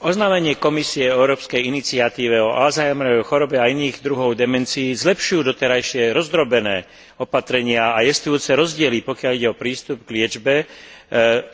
Oznámenie Komisie o európskej iniciatíve o Azheimerovej chorobe a iných druhoch demencií zlepšuje doterajšie rozdrobené opatrenia a jestvujúce rozdiely, pokiaľ ide o prístup k liečbe,